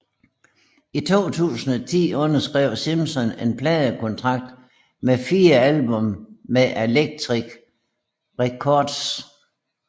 I 2010 underskrev Simpson en pladekontrakt for fire album med Atlantic Records